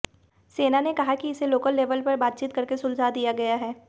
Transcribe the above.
सेना ने कहा कि इसे लोकल लेवल पर बातचीत करके सुलझा दिया गया है